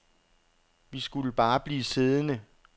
Vi skulle bare blive siddende.